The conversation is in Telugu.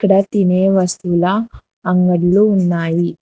అక్కడ తినే వస్తువుల అంగడ్లు ఉన్నాయి.